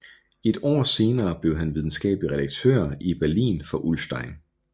Et år senere blev han videnskabelig redaktør i Berlin for Ullstein